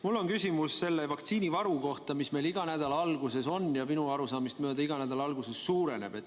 Mul on küsimus selle vaktsiinivaru kohta, mis meil iga nädala alguses on ja minu arusaamist mööda iga nädala alguses suureneb.